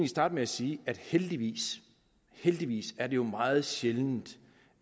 starte med at sige at heldigvis heldigvis er det jo meget sjældent